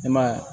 E ma y'a ye